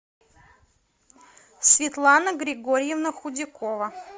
светлана григорьевна худякова